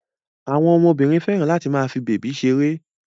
Àwọn ọmọbìnrin fẹ́ràn láti máa fi bèbí ṣeré.